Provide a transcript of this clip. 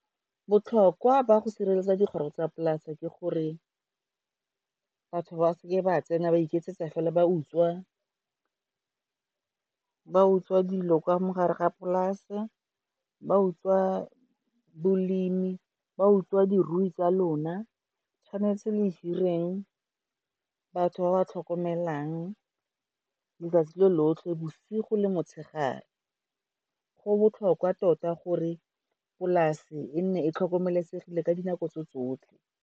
Botlhokwa ba go sireletsa dikgoro tsa polase ke gore batho ba seke ba tsena ba iketsetsa fela ba utswa dilo ka mogare ga polase, ba utswa bolemi, ba utswa dirui tsa lona. Tshwanetse le hireleng batho ba ba tlhokomelang, letsatsi lo lotlhe, bosigo le motshegare. Go botlhokwa tota gore polase e nne e tlhokomelesegile ka dinako tso tsotlhe.